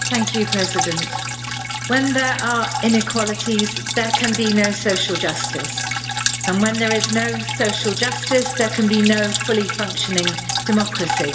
Madam President, when there are inequalities there can be no social justice, and when there is no social justice there can be no fully functioning democracy.